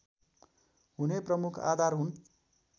हुने प्रमुख आधार हुन्